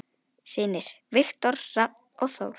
Synir: Viktor Hrafn og Þór.